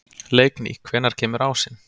Leikný, hvenær kemur ásinn?